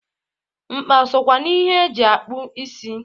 Nkpa sokwa n'ihe e ji akpụ isi.